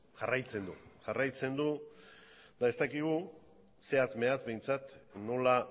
jarraitzen du jarraitzen du eta ez dakigu zehatz mehatz behintzat nola